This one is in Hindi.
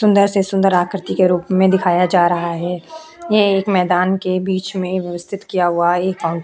सुंदर से सुंदर आकृति के रूप में दिखाया जा रहा है। ये एक मैंदान के बीच में व्यवस्थित किया हुआ है एक फाउंट --